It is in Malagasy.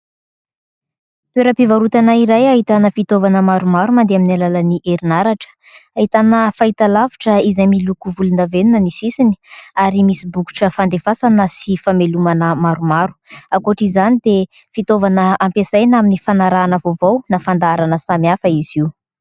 Toeram-pivarotana iray ahitana fitaovana maromaro mandeha amin'ny alalan'ny herinaratra, ahitana fahitalavitra izay miloko volondavenona ny sisiny ary misy bokotra fandefasana sy famelomana maromaro. Ankoatra izany dia fitaovana ampiasaina amin'ny fanarahana vaovao na fandaharana samihafa izy io.